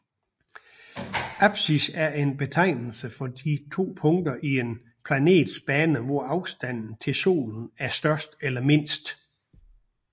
Apsis er en betegnelse for de to punkter i en planets bane hvor afstanden til solen er størst eller mindst